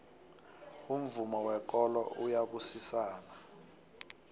umvumo wekolo uyabusisana